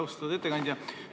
Austatud ettekandja!